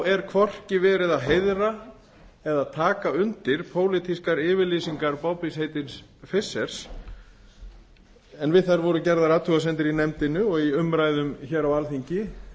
er hvorki verið að heiðra eða taka undir pólitískar yfirlýsingar bobbys heitins fischers en við þær voru gerðar athugasemdir í nefndinni og í umræðum hér á alþingi